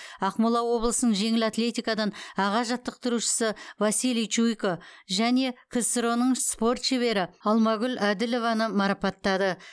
ақмола облысының жеңіл атлетикадан аға жаттықтырушысы василий чуйко және ксро ның спорт шебері алмагүл әділованы марапаттады